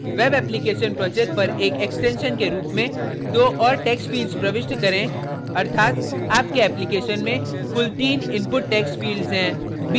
web application project पर एक extension के रूप में दो और text fields प्रविष्ट करें अर्थात आपके application में कुल तीन input text fields हैं